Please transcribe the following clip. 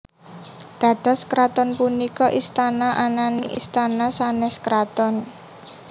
Dados kraton punika istana ananing istana sanes kraton